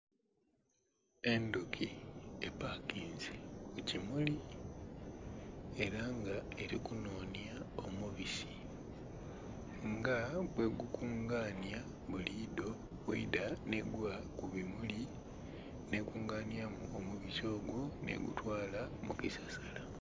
Endhuki epakinze kukimuli era nga eli kunhonya omubisi nga bwegu kunganya bulidho bweidha nhegwa kubimuli nhe kunganyamu omubisi ogwo nhegutwala mukisasala.